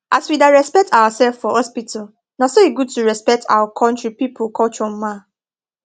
as we da respect ourself for hospital na so e good to respect our country people culture ma